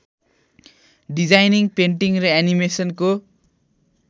designing painting र एनिमेसनको